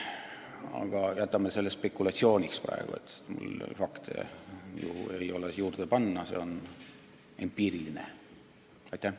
Aga jätame selle praegu spekulatsiooniks, fakte mul juurde panna ei ole, see on empiiriline väide.